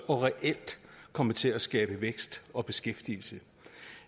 og reelt komme til at skabe vækst og beskæftigelse